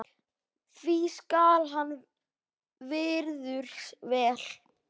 því skal hann virður vel.